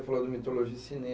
você falou de mitologia e